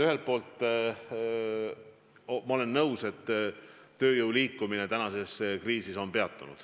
Ühelt poolt ma olen nõus, et tööjõu liikumine tänases kriisis on peatunud.